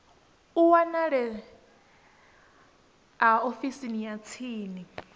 a wanalea ofisini ya tsini